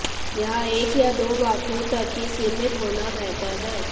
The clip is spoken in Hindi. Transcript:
यह एक या दो वाक्यों तक ही सीमित होना बेहतर है